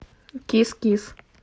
кис кис